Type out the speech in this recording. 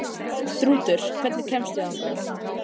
Þrútur, hvernig kemst ég þangað?